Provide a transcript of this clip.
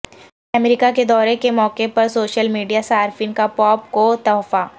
امریکہ کے دورے کے موقع پر سوشل میڈیا صارفین کا پوپ کو تحفہ